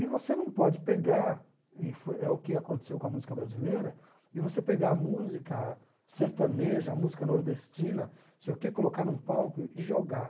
E você não pode pegar, e foi é o que aconteceu com a música brasileira, e você pegar a música sertaneja, a música nordestina, não sei o quê, colocar num palco e jogar.